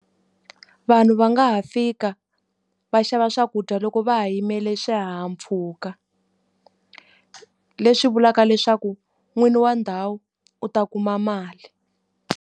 Vanhu va nga ha fika va xava swakudya loko va ha yimele swihahampfhuka, leswi vulaka leswaku n'wini wa ndhawu u ta kuma mali.